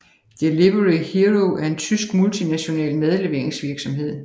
Delivery Hero er en tysk multinational madleveringsvirksomhed